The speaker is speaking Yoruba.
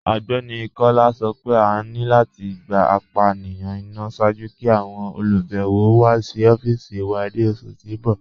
Ọgbẹni Kọla sọ́ pé à ní láti gbà ápànirun ìná ṣáàjú kí àwọn olubẹ̀wọ̀ wà sí ọ̀fíìsì wà ni oṣù tí n bọ̀.